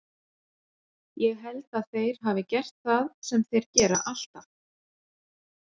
Ég held að þeir hafi gert það sem þeir gera alltaf.